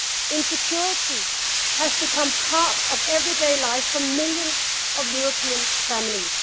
Insecurity has become part of everyday life for millions of European families.